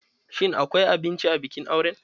Shin akwai abinci a bikin auren?